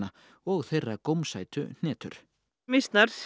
og þeirra gómsætu hnetur mýsnar